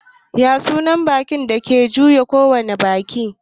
Ya sunan bankin da ke iya juya kowane banki?